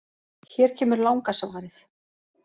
Hér kemur langa svarið: